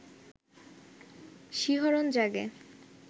শিহরণ জাগে